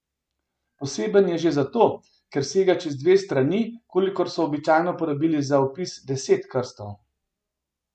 Poseben je že zato, ker sega čez dve strani, kolikor so običajno porabili za vpis deset krstov.